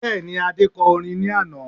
Bẹ́ẹ̀ni, Adé kọ orin ní àná